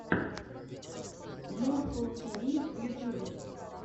морфл ти ви в ютьюбе